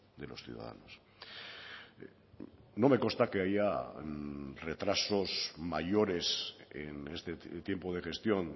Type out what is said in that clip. de los ciudadanos no me consta que haya retrasos mayores en este tiempo de gestión